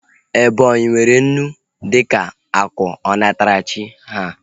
Ebonyi nwere unu dịka akụ onatarachi ha